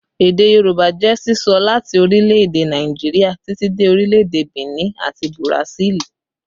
Èdè Yorùbá jẹ́ sísọ láti orílẹ̀ èdè Nàìjíríà títí dé orílẹ̀ èdè Benin àti Burasili